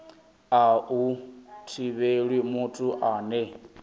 a hu thivheli muthu ane